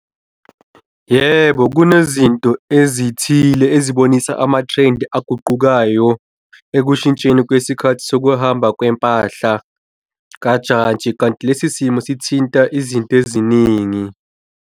Yebo, kunezinto ezithile ezibonisa ama-trend-i aguqukayo ekushintsheni kwesikhathi sokuhamba kwempahla kajantshi. Kanti lesi simo sithinta izinto eziningi.